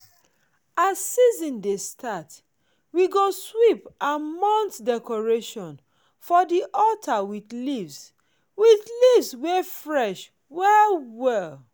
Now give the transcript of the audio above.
as season dey start we go sweep and mount decorations for di altar with leaves with leaves wey fresh well well.